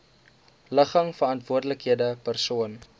ligging verantwoordelike persoon